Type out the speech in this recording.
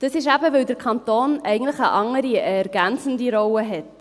– Das ist eben, weil der Kanton eigentlich eine andere, eine ergänzende Rolle hat.